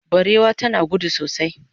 barewa tana gudu sosai